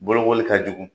Bolokoli ka jugu